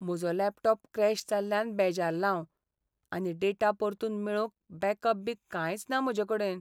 म्हजो laptop crash जाल्ल्यान बेजारलां हांव, आनी डेटा परतून मेळोवंक बॅकअप बी कांयच ना म्हजेकडेन.